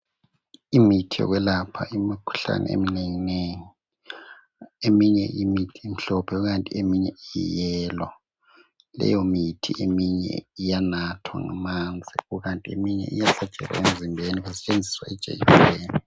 Imithi yokwelapha imikhuhlane eminengi nengi. Eminye imithi imhlophe kukanti eminye iyi"yellow" .Leyomithi eminye iyanathwa ngamanzi kukanti eminye iyahlatshwa emzimbeni kusetshenziswa ijekiseni.